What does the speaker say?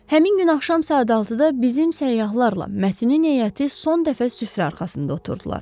Həmin gün axşam saat 6-da bizim səyyahlarla Mətinin heyəti son dəfə süfrə arxasında oturdular.